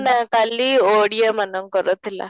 ନା କାଲି ଓଡ଼ିଆ ମାନଙ୍କର ଥିଲା